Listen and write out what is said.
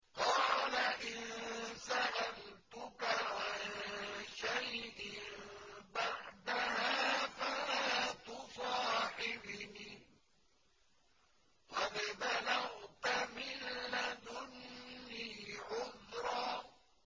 قَالَ إِن سَأَلْتُكَ عَن شَيْءٍ بَعْدَهَا فَلَا تُصَاحِبْنِي ۖ قَدْ بَلَغْتَ مِن لَّدُنِّي عُذْرًا